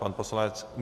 Pan poslanec?